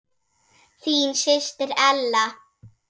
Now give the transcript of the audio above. Þín systir Ella.